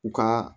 U ka